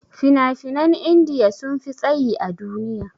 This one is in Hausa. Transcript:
Fina-finan india sunfi tsayi a duniya.